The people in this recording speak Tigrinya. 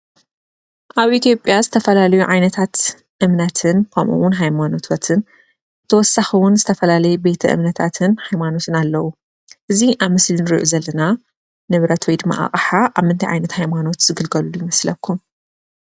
ኣብ ኢትዮጵያ ዝተፈላለዩ ዓይነታት እምነትን ከምኡውን ሃይማኖትን ብተወሳኪ እውን ዝተፈላለዩ ቤተ እምነታትን ሃይማኖትን ኣለዉ። እዚ ኣብ ምስሊ እንሪኦ ዘለና ንብረት ወይ ድማ ኣቅሓ እንታይ ኣብ ምንታይ ዓይነት ሃይማኖት ዝግልገልሉ ይመስለኩም?